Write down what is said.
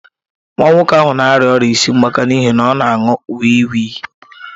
Nwa nwoke ahụ na-arịa ọrịa isi mgbaka n'ihi na ọ na-aṅụ wii wii.